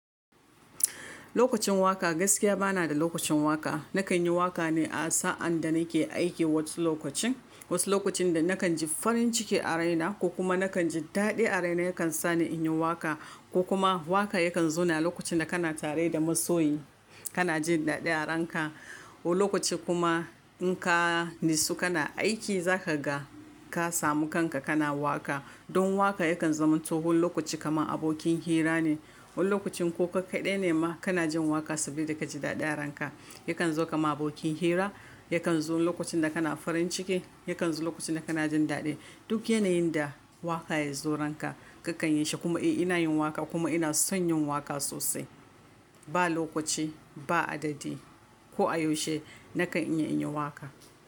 Lokacin waƙa gaskiya bana da lokacin waƙa. Nakan yi waƙa ne a sa'ad da nake aiki, wasu lokacin. Wasu lokacin da nakan ji farin ciki a raina ko kuma nakan ji daɗi a raina yakan sa ni in yi waƙa ko kuma waƙa yakan zo na lokacin da kana tare da masoyi, kana jin daɗi a ranka. Wani lokaci kuma in ka natsu kana aiki za ka ga ka samu kanka kana waƙa. Don waƙa yakan zama toh wani lokaci kamar abokin hira ne. Wani lokacin ko ka kaɗai ne ma kana jin waƙa saboda ka ji daɗa ranka. Yakan zo kamar abokin hira, yakan zo lokacin da kana farin ciki, yakan zo lokacin da kana jin daɗi. Duk yanayin da waƙa ya zo ranka kakan yi shi kuma eh ina yin waƙa kuma ina son yin waƙa sosai. Ba lokaci, ba adadi ko a yaushe nakan iya in yi waƙa.